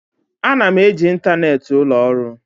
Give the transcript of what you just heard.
Ana m eji ịntanetị ụlọ ọrụ.